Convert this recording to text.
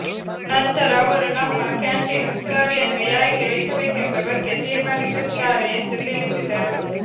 ನಂತರ ಅವರು ನಮ್ಮ ಕ್ಯಾಂಟೀನ್ ಉಸ್ತುವಾರಿಯನ್ನು ಯಾರಿಗೆ ವಹಿಸಬೇಕೆಂಬ ಬಗ್ಗೆ ತೀರ್ಮಾನಿಸುತ್ತಾರೆ ಎಂದು ತಿಳಿಸಿದರು